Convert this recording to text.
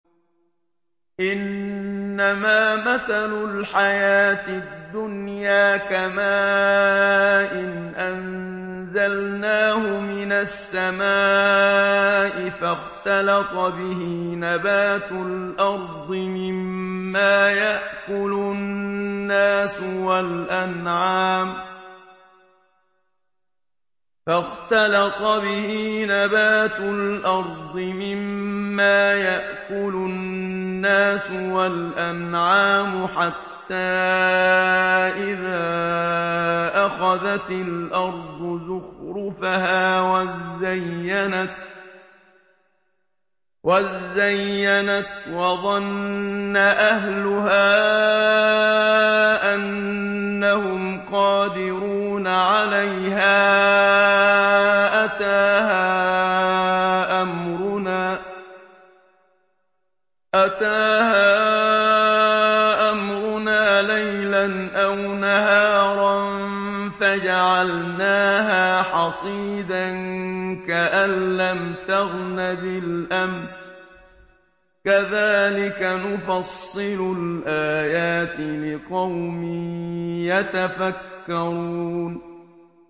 إِنَّمَا مَثَلُ الْحَيَاةِ الدُّنْيَا كَمَاءٍ أَنزَلْنَاهُ مِنَ السَّمَاءِ فَاخْتَلَطَ بِهِ نَبَاتُ الْأَرْضِ مِمَّا يَأْكُلُ النَّاسُ وَالْأَنْعَامُ حَتَّىٰ إِذَا أَخَذَتِ الْأَرْضُ زُخْرُفَهَا وَازَّيَّنَتْ وَظَنَّ أَهْلُهَا أَنَّهُمْ قَادِرُونَ عَلَيْهَا أَتَاهَا أَمْرُنَا لَيْلًا أَوْ نَهَارًا فَجَعَلْنَاهَا حَصِيدًا كَأَن لَّمْ تَغْنَ بِالْأَمْسِ ۚ كَذَٰلِكَ نُفَصِّلُ الْآيَاتِ لِقَوْمٍ يَتَفَكَّرُونَ